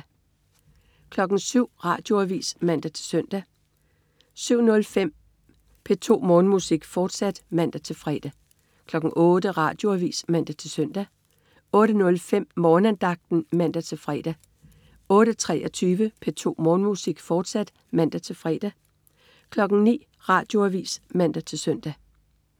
07.00 Radioavis (man-søn) 07.05 P2 Morgenmusik, fortsat (man-fre) 08.00 Radioavis (man-søn) 08.05 Morgenandagten (man-fre) 08.23 P2 Morgenmusik, fortsat (man-fre) 09.00 Radioavis (man-søn)